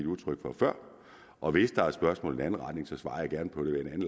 udtryk for før og hvis der er spørgsmål i en anden retning svarer jeg gerne på det ved en